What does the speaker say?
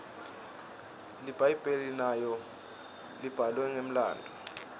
libhayibheli nalo libhalwe ngemlandvo